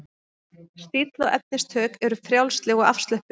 Stíll og efnistök eru frjálsleg og afslöppuð.